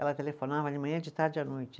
Ela telefonava de manhã, e de tarde e à noite.